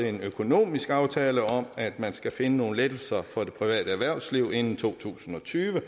en økonomisk aftale om at man skal finde nogle lettelser for det private erhvervsliv inden to tusind og tyve